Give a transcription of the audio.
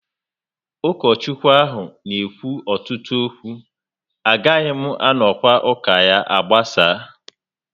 Ukochukwu ahụ n'ekwu ọtụtụ okwu, agaghị m anonwu ụka agbasaa